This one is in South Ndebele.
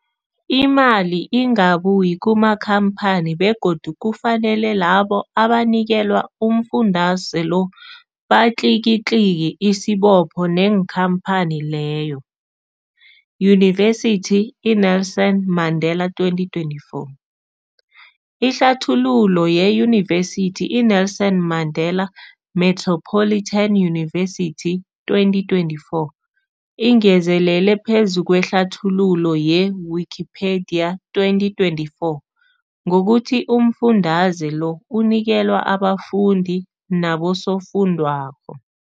Imali ingabuyi kumakhamphani begodu kufanele labo abanikelwa umfundaze lo batlikitliki isibopho neenkhamphani leyo, Yunivesity i-Nelson Mandela 2024. Ihlathululo yeYunivesithi i-Nelson Mandela Metropolitan University, 2024, ingezelele phezu kwehlathululo ye-Wikipedia, 2024, ngokuthi umfundaze lo unikelwa abafundi nabosofundwakgho.